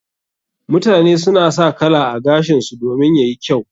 Mutane suna sa kala a gashinsu domin yayi kyau.